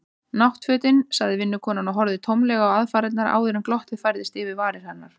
Náttfötin. sagði vinkonan og horfði tómlega á aðfarirnar áður en glottið færðist yfir varir hennar.